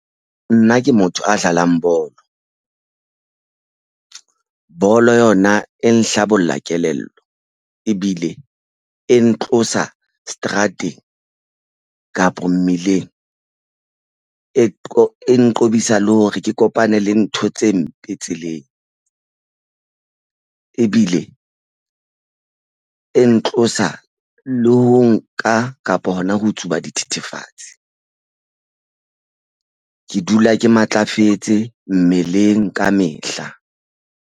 Nna ke motho a dlalang bolo. Bolo yona e nhlabollang kelello ebile e ntlosa seterateng kapa mmileng e nqobisa le hore ke kopane le ntho tse mpe tseleng ebile e ntlosa le ho nka kapa hona ho tsuba dithethefatsi. Ke dula ke matlafetse mmeleng kamehla.